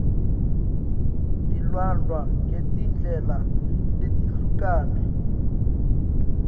tilandvwa ngetindlela letehlukene